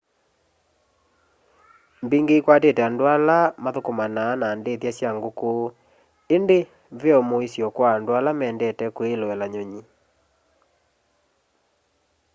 mbingi ikwatite andu ala mathukumanaa na ndithya sya nguku indi ve o muisyo kwa andu ala mendete kwiloela nyunyi